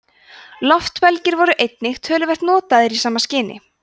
loftbelgir voru einnig töluvert notaðir í sama skyni